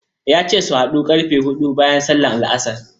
Ya ce su haɗu ƙarfe huɗu bayan sallar La'asar.